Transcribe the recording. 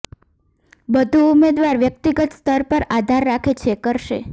બધું ઉમેદવાર વ્યક્તિગત સ્તર પર આધાર રાખે છે કરશે